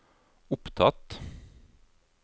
opptatt